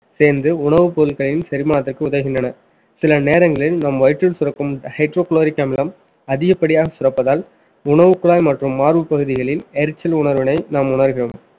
சேர்ந்து உணவுப் பொருட்களின் செரிமானத்திற்கு உதவுகின்றன சில நேரங்களில் நம் வயிற்றில் சுரக்கும் hydrochloric அமிலம் அதிகப்படியாக சுரப்பதால் உணவுக்குழாய் மற்றும் மார்பு பகுதிகளில் எரிச்சல் உணர்வினை நாம் உணர்கிறோம்